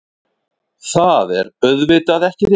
Það er auðvitað ekki rétt.